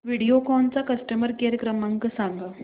व्हिडिओकॉन चा customer care क्रमांक सांगा